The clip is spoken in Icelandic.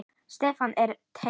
Stefnan er tekin.